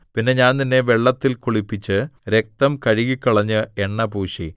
പിന്നെ ഞാൻ നിന്നെ വെള്ളത്തിൽ കുളിപ്പിച്ച് രക്തം കഴുകിക്കളഞ്ഞ് എണ്ണപൂശി